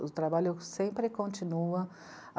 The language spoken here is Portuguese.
O trabalho sempre continua.